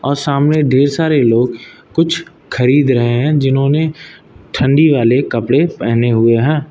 सामने ढेर सारे लोग कुछ खरीद रहे हैं जिन्होंने ठंडी वाले कपड़े पहने हुए हैं।